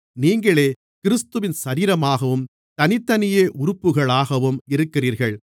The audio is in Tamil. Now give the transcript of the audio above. நீங்களே கிறிஸ்துவின் சரீரமாகவும் தனித்தனியே உறுப்புகளாகவும் இருக்கிறீர்கள்